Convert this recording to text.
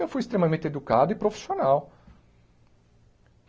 Eu fui extremamente educado e profissional.